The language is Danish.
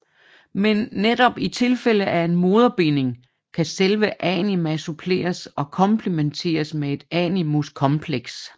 Men netop i tilfælde af en moderbinding kan selve anima suppleres og komplimenteres med et animus kompleks